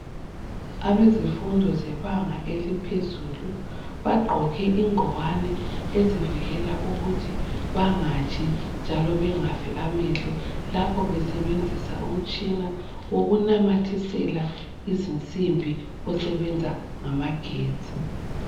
Abezifundo zebanga eliphezulu bagqoke ingwane ezivikela ukuthi bangatshi njalo bengafi amehlo lapho besebenzisa umtshina wokunamathisela izinsimbi osebenza ngamagetsi.